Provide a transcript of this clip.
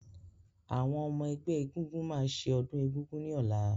Àwọn ọmọ-ẹgbẹ́ ẹgúngún máa ṣe ọdún egúngún ní ọ̀la.